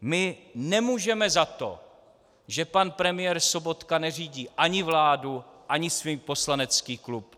My nemůžeme za to, že pan premiér Sobotka neřídí ani vládu ani svůj poslanecký klub.